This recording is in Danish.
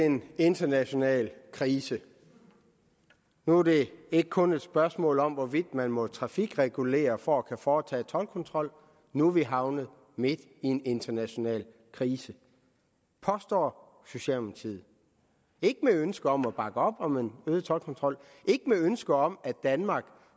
en international krise nu er det ikke kun et spørgsmål om hvorvidt man må trafikregulere for at kunne foretage toldkontrol nu er vi havnet midt i en international krise påstår socialdemokratiet ikke med ønske om at bakke op om en øget toldkontrol ikke med ønske om at danmark